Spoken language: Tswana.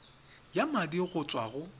ya madi go tswa go